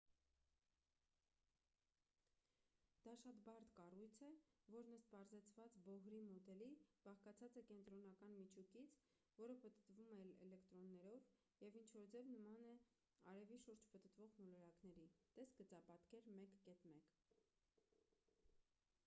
դա շատ բարդ կառույց է որն ըստ պարզեցված բոհրի մոդելի բաղկացած է կենտրոնական միջուկից որը պտտվում է էլեկտրոններով և ինչ որ ձև նման է արևի շուրջ պտտվող մոլորակների տես գծապատկեր 1.1